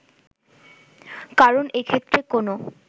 কারণ এক্ষেত্রে কোনো